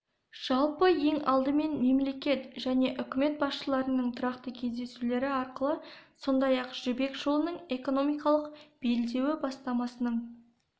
жалпы ең алдымен мемлекет және үкімет басшыларының тұрақты кездесулері арқылы сондай-ақ жібек жолының экономикалық белдеуі бастамасының